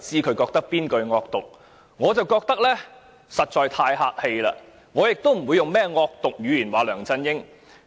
我覺得大家發言時實在太客氣，亦不會用甚麼惡毒語言批評梁振英。